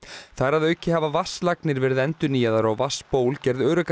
þar að auki hafa vatnslagnir verið endurnýjaðar og vatnsból gerð öruggari